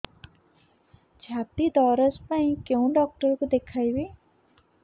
ଛାତି ଦରଜ ପାଇଁ କୋଉ ଡକ୍ଟର କୁ ଦେଖେଇବି